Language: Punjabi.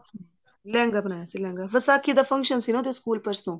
ਲਹਿੰਗਾ ਬਣਾਇਆ ਸੀ ਲਹਿੰਗਾ ਵਿਸਾਖੀ ਦਾ function ਸੀ ਉਹਦੇ ਸਕੂਲ ਪਰਸੋ